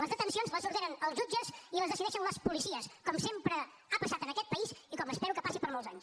les detencions les ordenen els jutges i les decideixen les policies com sempre ha passat en aquest país i com espero que passi per molts anys